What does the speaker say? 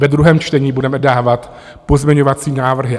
Ve druhém čtení budeme dávat pozměňovací návrhy.